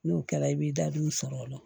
N'o kɛra i b'i da don u sɔrɔ o la